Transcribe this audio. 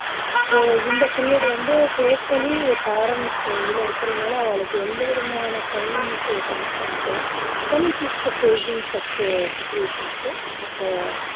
so இந்த period வந்து totally parents இதுல இருக்குறதுனால அவாளுக்கு எந்த விதமான financial constraints oh facing such situations at உ